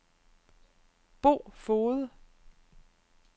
Bo Foged